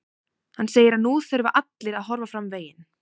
Hann segir að nú þurfi allir að horfa fram veginn.